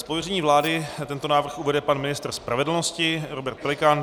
Z pověření vlády tento návrh uvede pan ministr spravedlnosti Robert Pelikán.